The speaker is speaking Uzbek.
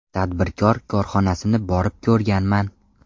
Tadbirkor korxonasini borib ko‘rganman.